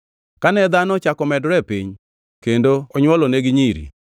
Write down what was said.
Kane dhano ochako medore e piny, kendo onywolonegi nyiri,